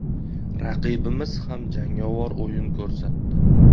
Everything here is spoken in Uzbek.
Raqibimiz ham jangovar o‘yin ko‘rsatdi.